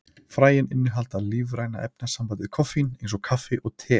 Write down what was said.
Fræin innihalda lífræna efnasambandið koffín, eins og kaffi og te.